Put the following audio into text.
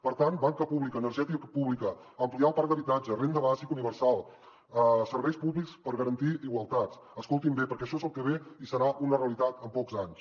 per tant banca pública energètica pública ampliar el parc d’habitatge renda bàsica universal serveis públics per garantir igualtat escoltin bé perquè això és el que ve i serà una realitat en pocs anys